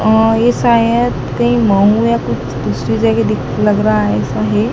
अह ये शायद कहीं मऊ या कुछ दूसरी जगह दिख लग रहा है ऐसा है।